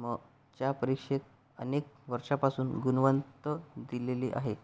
म च्या परिक्षेत अनेक वर्षांपासून गुणववंत दिले आहेत